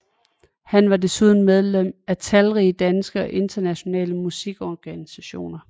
Han var desuden medlem af talrige danske og internationale musikorganisationer